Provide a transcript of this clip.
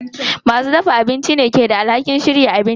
Masu dafa abinci ne ke da alhakin shirya abincin.